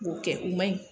M'o kɛ o man ɲi